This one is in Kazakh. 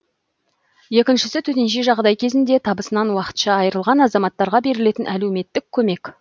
екіншісі төтенше жағдай кезінде табысынан уақытша айырылған азаматтарға берілетін әлеуметтік көмек